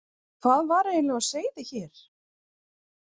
Hvað var eiginlega á seyði hér?